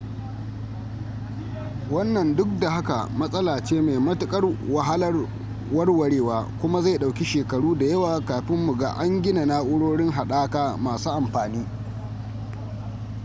wannan duk da haka matsala ce mai matuƙar wahalar warwarewa kuma zai ɗauki shekaru da yawa kafin mu ga an gina na'urori haɗaka masu amfani